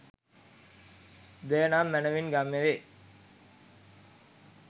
දෙය නම් මැනවින් ගම්‍ය වේ